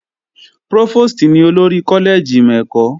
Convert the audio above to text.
Prófòstì ní olórí kọ́lẹ́ẹ̀jì ìmọ̀ ẹ̀kọ́